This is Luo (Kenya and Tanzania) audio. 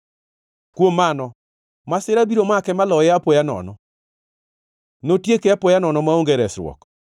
Kuom mano, masira biro make maloye apoya nono; notieke apoya nono, maonge resruok.